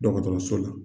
Dɔgɔtɔrɔso la